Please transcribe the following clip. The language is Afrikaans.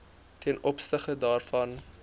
ten opsigte daarvan